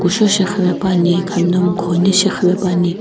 kushou shi qhipepuani khami no mkhounei shi qhipepuani.